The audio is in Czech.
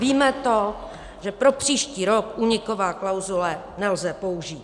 Víme to, že pro příští rok únikové klauzule nelze použít.